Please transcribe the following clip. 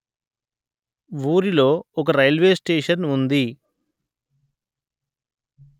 వూరిలో ఒక railway station ఉంది